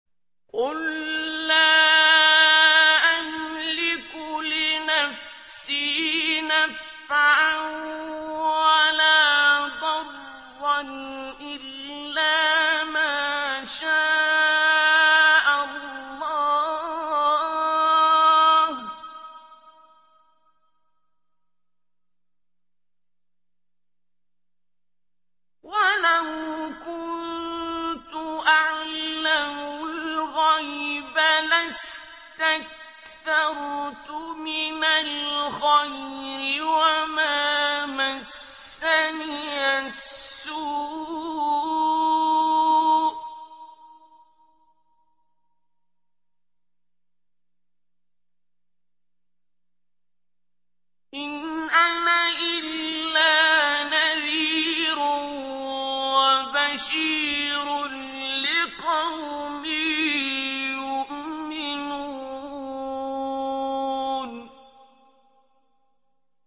قُل لَّا أَمْلِكُ لِنَفْسِي نَفْعًا وَلَا ضَرًّا إِلَّا مَا شَاءَ اللَّهُ ۚ وَلَوْ كُنتُ أَعْلَمُ الْغَيْبَ لَاسْتَكْثَرْتُ مِنَ الْخَيْرِ وَمَا مَسَّنِيَ السُّوءُ ۚ إِنْ أَنَا إِلَّا نَذِيرٌ وَبَشِيرٌ لِّقَوْمٍ يُؤْمِنُونَ